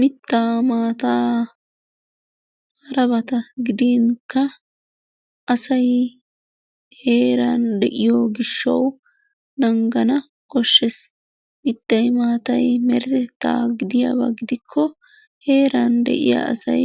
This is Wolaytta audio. Mittaa, maataa harabata gidinkka asay heeran de"iyo gishshawu naagana koshshees. Mittay maatay meretettaa gidiyaaba gidikko heeran de"iyaa asay